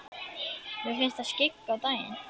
Mér finnst það skyggja á daginn.